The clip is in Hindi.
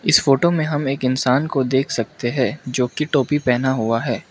इस फोटो में हम एक इंसान को देख सकते हैं जो की टोपी पहना हुआ है।